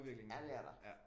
Ja det er der